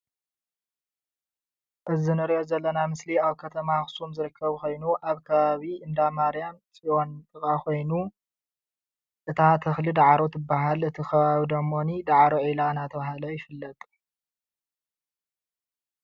እዚ እንሪኦ ዘለና ኣብ ምስሊ ኣብ ከተማ ኣክሱም ዝርከብ ኮይኑ ኣብ ከባቢ እንዳ ማርያም ፅዮን ዝርከብ ኮይኑ እታ ተክሊ ዳዕሮ ትባሃል፡፡ እቲ ከባቢ ድማ ዳዕሮ ዒላ እንዳተባሃለ ይፍለጥ፡፡